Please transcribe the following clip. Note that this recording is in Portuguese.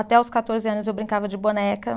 Até os quatorze anos eu brincava de boneca.